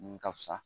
Mun ka fisa